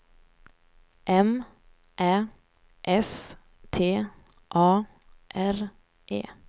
M Ä S T A R E